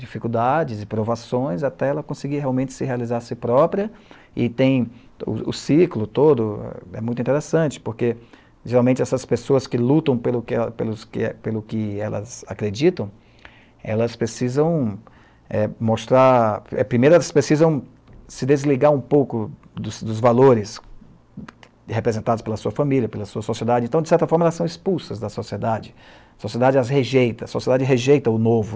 dificuldades e provações até ela conseguir realmente se realizar a si própria e tem o o ciclo todo, é muito interessante porque geralmente essas pessoas que lutam pelo que, pelo que pelo que elas acreditam, elas precisam eh mostrar, primeiro elas precisam se desligar um pouco dos dos valores representados pela sua família, pela sua sociedade, então de certa forma elas são expulsas da sociedade, a sociedade as rejeita, a sociedade rejeita o novo,